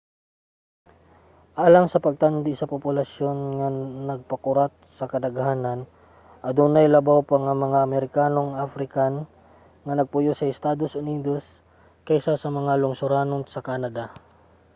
alang sa pagtandi sa populasyon nga nagpakurat sa kadaghanan: adunay labaw pa nga mga amerikanong african ang nagpuyo sa estados unidos kaysa sa mga lungsoranon sa canada